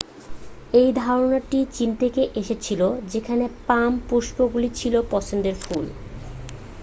এই ধারণাটি চীন থেকে এসেছিল যেখানে পাম পুষ্পগুলি ছিল পছন্দের ফুল